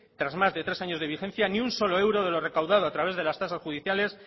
tras más de tres años de vigencia ni un solo euro de lo recaudado a través de las tasas judiciales